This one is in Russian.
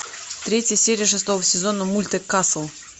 третья серия шестого сезона мульта касл